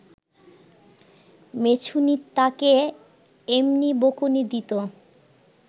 মেছুনী তাকে এমনি বকুনি দিত